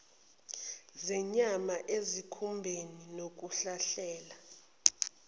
zenyama ezikhumbeni nokuhlahlela